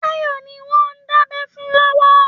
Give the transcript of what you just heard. Táyọ̀ ni wọ́n ń dábẹ́ fún lọ́wọ́.